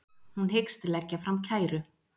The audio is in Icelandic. Hún hyggst leggja fram kæru